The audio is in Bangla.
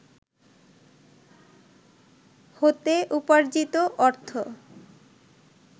হতে উপার্জিত অর্থ